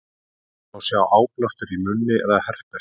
Hér má sjá áblástur í munni eða herpes.